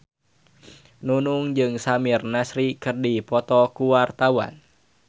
Nunung jeung Samir Nasri keur dipoto ku wartawan